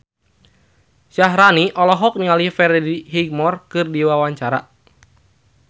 Syaharani olohok ningali Freddie Highmore keur diwawancara